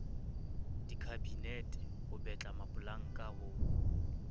dikhabinete ho betla mapolanka ho